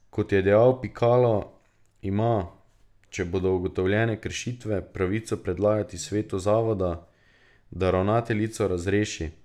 Kot je dejal Pikalo, ima, če bodo ugotovljene kršitve, pravico predlagati svetu zavoda, da ravnateljico razreši.